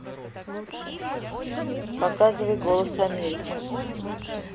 показывай голос америки